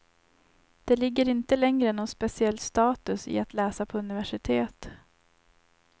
Det ligger inte längre någon speciell status i att läsa på universitet.